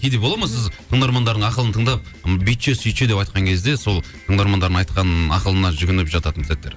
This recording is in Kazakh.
кейде болады ма сіз тыңдармандардың ақылын тыңдап бүйтші сөйтші деп айтқан кезде сол тыңдармандардың айтқан ақылына жүгініп жататын сәттер